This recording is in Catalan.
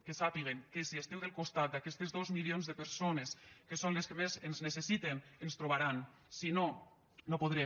que sàpiguen que si esteu del costat d’aquests dos milions de persones que són les que més ens necessiten ens hi trobaran si no no podrem